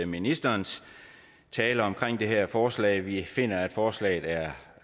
ministerens tale omkring det her forslag vi finder at forslaget er